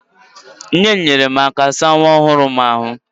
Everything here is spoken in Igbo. Nne m nyeere m aka saa nwa ọhụrụ m ahụ